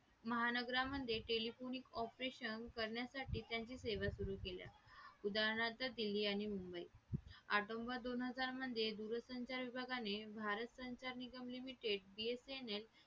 महानगरामध्ये telephonic operation करण्यासाठी त्यांची सेवा सुरू केल्या उदाहरणात दिल्ली आणि मुंबई दोन हजार मध्ये दूरसंचार विभागाने भारत संचार निगम limited BSNL